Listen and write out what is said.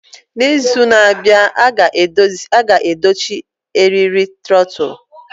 N'izu na-abịa, a ga-edochi eriri trotul.